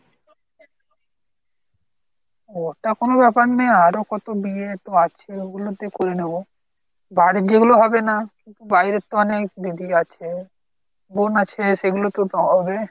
ওটা কোনো ব্যাপার নেই আরো কত বিয়ে তো আছে ওগুলোতে করে নেব। বাড়ির যেগুলো হবে না বাইরের তো অনেক দিদি আছে বোন আছে সেগুলো তো হবে।